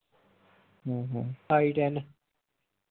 ਹਮ iten